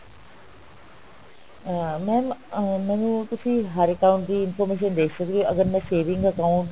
ਅਹ mam ਅਹ ਮੈਨੂੰ ਤੁਸੀਂ ਹਰੇਕ account ਦੀ information ਦੇ ਸਕਦੇ ਹੋ ਅਗਰ ਮੈਂ saving account